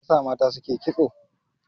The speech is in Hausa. Me yasa mata suke kitso?